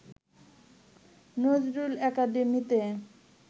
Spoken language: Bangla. নজরুল একাডেমীতে